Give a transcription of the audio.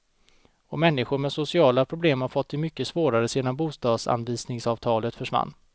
Och människor med sociala problem har fått det mycket svårare sedan bostadsanvisningsavtalet försvann.